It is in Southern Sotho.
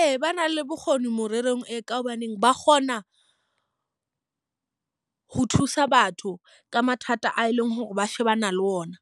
Ee, ba na le bokgoni morerong e, ka hobaneng ba kgona ho thusa batho ka mathata a e leng hore ba shebana le ona.